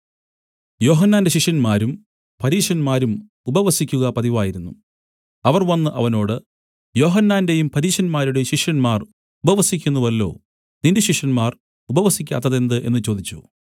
യോഹന്നാന്റെ ശിഷ്യന്മാരും പരീശന്മാരും ഉപവസിക്കുക പതിവായിരുന്നു അവർ വന്നു അവനോട് യോഹന്നാന്റെയും പരീശന്മാരുടെയും ശിഷ്യന്മാർ ഉപവസിക്കുന്നുവല്ലോ നിന്റെ ശിഷ്യന്മാർ ഉപവസിക്കാത്തതെന്ത് എന്നു ചോദിച്ചു